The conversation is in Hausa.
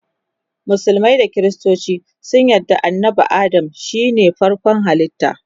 musulmai da kristoci sun yarda annabi Adam shine farkon halitta